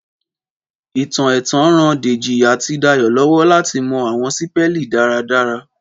Ìtàn ẹ̀tàn ran Dèjì àti Dayò lọ́wọ́ láti mọ àwọn sípélì dára dára